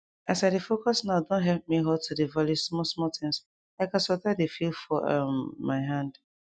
as i dey focus nowe don help me halt to dey value small small things like as water dey feel for um my hand